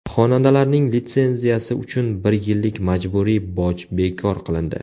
Xonandalarning litsenziyasi uchun bir yillik majburiy boj bekor qilindi.